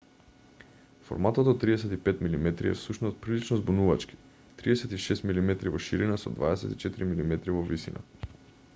форматот од 35 мм е всушност прилично збунувачки 36 мм во ширина со 24 мм во висина